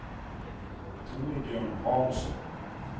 Torbjörn Hansson